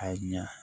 A ye ɲa